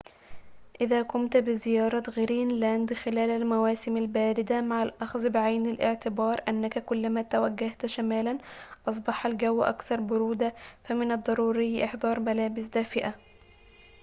إذا قمت بزيارة غرينلاند خلال المواسم الباردة مع الأخذ بعين الاعتبار أنك كلما توجهت شمالاً أصبح الجو أكثر برودة، فمن الضروري إحضار ملابس دافئة